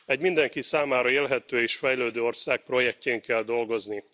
Egy mindenki számára élhető és fejlődő ország projektjén kell dolgozni.